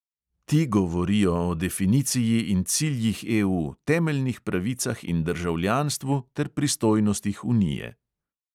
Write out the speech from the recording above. Ti govorijo o definiciji in ciljih EU, temeljnih pravicah in državljanstvu ter pristojnostih unije.